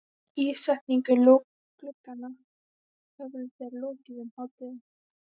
Ísetningu glugganna höfðu þeir lokið um hádegið.